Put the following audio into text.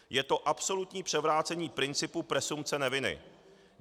Je to absolutní převrácení principu presumpce neviny.